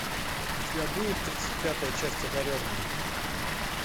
у тебя будет тридцать пятая часть одаренные